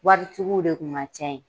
Waritigiw de kun ka ca yen